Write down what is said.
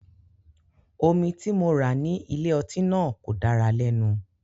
Omi tí mo rà ní ilé-ọtí náà kò dára lẹ́nu.